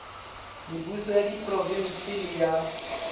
mebuso ya diprovense le ya